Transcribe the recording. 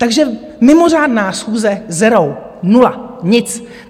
Takže mimořádná schůze - zero, nula, nic.